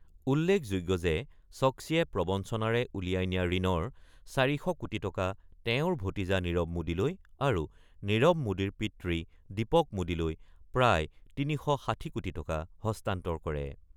উল্লেখযোগ্য যে ছক্মীয়ে প্ৰৱঞ্চনাৰে উলিয়াই নিয়া ঋণৰ ৪০০ কোটি টকা তেওঁৰ ভতিজা নীৰৱ মোডীলৈ আৰু নীৰৱ মোডীৰ পিতৃ দীপক মোডীলৈ প্ৰায় ৩৬০ কোটি টকা হস্তান্তৰ কৰে।